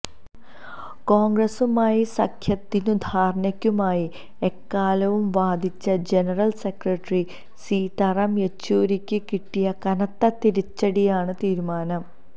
കോണ്ഗ്രസുമായി സഖ്യത്തിനും ധാരണയ്ക്കുമായി എക്കാലവും വാദിച്ച ജനറല് സെക്രട്ടറി സീതാറാം യെച്ചൂരിക്ക് കിട്ടിയ കനത്ത തിരിച്ചടിയാണ് തീരുമാനം